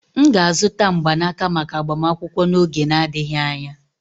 M ga-azụta mgbanaka maka agbamakwụkwọ n'oge n'adịghị anya.